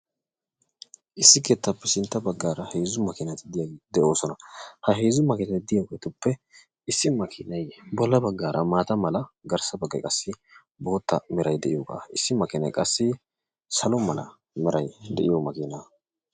Issi keettaappe sintta baggaara heezzu makiinati diyageeti de'oosona. Ha heezzu makiinati diyageetuppe issi makiinayi bolla baggaara maata mala garssa baggayi qassi bootta merayi diyogaa Issi makiinayi qassi salo merayi de'iyo makiinaa.